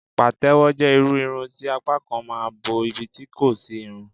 patewo je irú Irun ti apá kan ma n bo ibi tí kò sí irun.